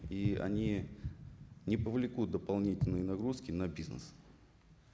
и они не повлекут дополнительные нагрузки на бизнес